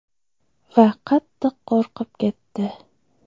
Va qattiq qo‘rqib ketdi .